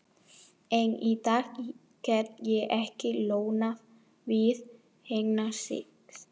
Enn í dag get ég ekki losnað við þennan sið.